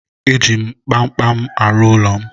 E ji m kpamkpam arụ ụlọ